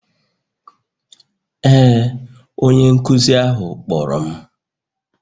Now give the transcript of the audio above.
Ee, onye nkụzi ahụ kpọrọ m